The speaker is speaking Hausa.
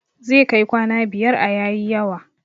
Zai kai kwana biyar a yayi yawa